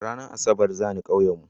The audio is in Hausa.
Ranar asabar zani ƙauyen mu